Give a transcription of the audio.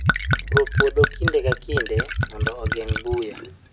Puro puodho kinde ka kinde mondo ogeng' buya